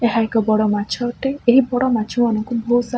ଏହା ଏକ ବଡ଼ ମାଛ ଅଟେ। ଏହି ବଡ଼ ମାଛମାନଙ୍କୁ ବହୁତ ସାରା --